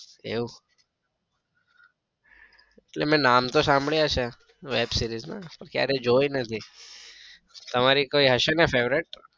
એવું એટલે મેં નામ તો સાંભળ્યા છે web series પણ ક્યારેય જોઈ નથી. તમારી કોઈ હશે ને favourite?